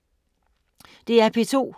DR P2